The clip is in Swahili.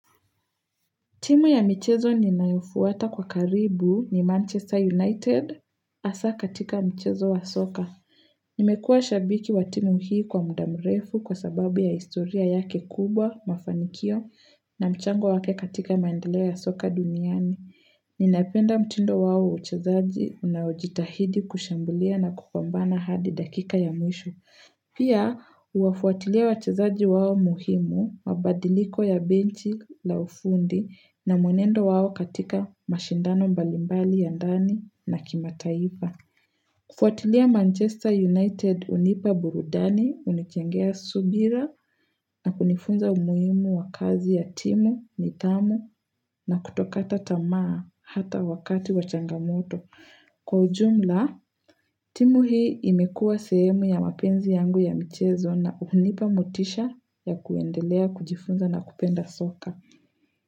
Timu ya michezo ninayoifuata kwa karibu ni Manchester United hasa katika mchezo wa soka. Nimekua shabiki wa timu hii kwa mda mrefu kwa sababu ya historia yake kubwa, mafanikio na mchango wake katika maendelea ya soka duniani. Ninapenda mtindo wao wa uchezaji unaojitahidi kushambulia na kupambana hadi dakika ya mwisho. Pia huafuatilia wachezaji wao muhimu wabadiliko ya benchi la ufundi na mwenendo wawo katika mashindano mbalimbali ya ndani na kimataifa. Kufuatilia Manchester United hunipa burudani hunichangia subira na kunifunza umuhimu wa kazi ya timu, nidhamu na kutokata tamaa hata wakati wa changamoto. Kwa ujumla, timu hii imekua sehemu ya mapenzi yangu ya mchezo na huhunipa motisha ya kuendelea, kujifunza na kupenda soka.